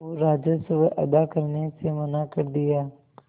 और राजस्व अदा करने से मना कर दिया